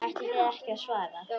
Ætlið þið ekki að svara?